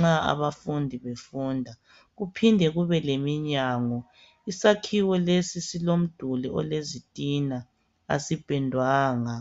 ,nxa abafundi befunda. Kuphinde kube leminyango. Isakhiwo lesi silomduli olezitina. Asipendwanga.